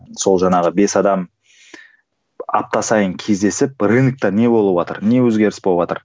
сол жаңағы бес адам апта сайын кездесіп рынокта не болыватыр не өзгеріс болыватыр